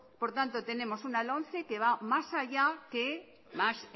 por tanto tenemos una lomce que va más allá que más